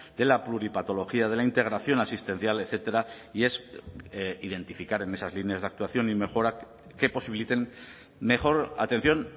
de la pluripatología de la integración asistencial etcétera y es identificar en esas líneas de actuación y mejora que posibiliten mejor atención